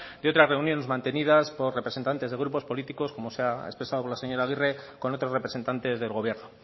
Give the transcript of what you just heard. de otras reuniones mantenidas por representantes de grupos políticos como ha expresado la señora agirre con otros representantes del gobierno